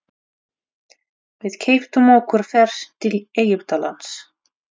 Við keyptum okkur ferð til Egyptalands.